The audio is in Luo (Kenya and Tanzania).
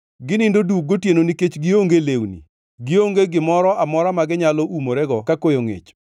Ginindo duk gotieno nikech gionge lewni; gionge gimoro amora ma ginyalo umorego ka koyo ngʼich.